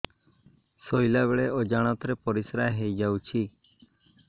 ଶୋଇଲା ବେଳେ ଅଜାଣତ ରେ ପରିସ୍ରା ହେଇଯାଉଛି